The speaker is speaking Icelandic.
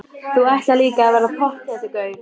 Þú ætlar líka að verða pottþéttur gaur.